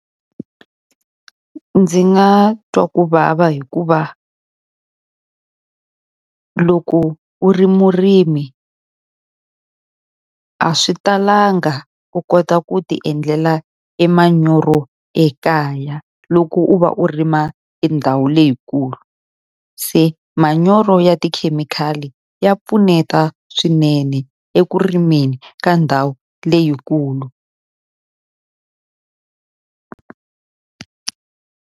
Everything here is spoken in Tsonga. Ndzi nga twa ku vava hikuva loko u ri murimi a swi talanga u kota ku ti endlela e manyoro ekaya, loko u va u rima e ndhawu leyikulu. Se manyoro ya tikhemikhali ya pfuneta swinene eku rimeni ka ndhawu leyikulu.